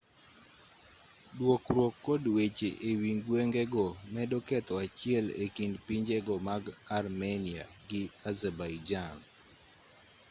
dwokruok kod weche ewi gwengego medo ketho achiel ekind pinje-go mag armenia gi azerbaijan